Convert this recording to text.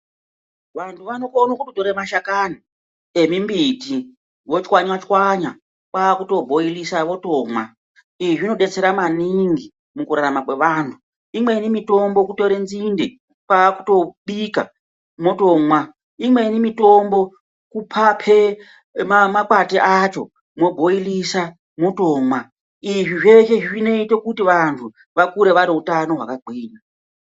Vantu vanokone kootore mashakani emimbiti vochwanyachwanya kwakuto bhooirisa votomwa, izvi zvinodetsera maningi mukurarama kwevanhu imweni mitombo kutore nzinde kwa kutopika mwotomwa, imweni mitombo kupape makwati acho mwobhoirisa mwotomwa izvi zveshe zvinoite kuti vantu vakure vaneutano hwakagwinya.